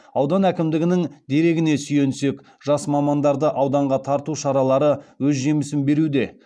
аудан әкімдігінің дерегіне сүйенсек жас мамандарды ауданға тарту шаралары өз жемісін беруде